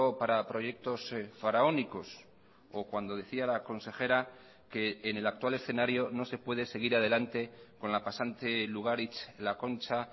para proyectos faraónicos o cuando decía la consejera que en el actual escenario no se puede seguir adelante con la pasante lugaritz la concha